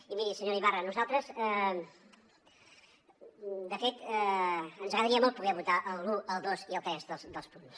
i miri senyora ibarra a nosaltres de fet ens agradaria molt poder votar l’un el dos i el tres dels punts